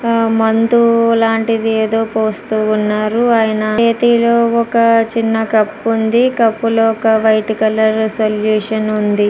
మందు లాంటిది ఏదొ పోస్తూ ఉన్నారు ఆయన చేతిలో ఒక చిన్న కప్ ఉంది కప్ లో వైట్ కలర్ సొల్యూషన్ ఉంది.